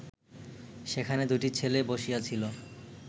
সেখানে দুটি ছেলে বসিয়াছিল